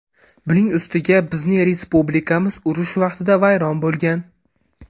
Buning ustiga bizning respublikamiz urush vaqtida vayron bo‘lgan.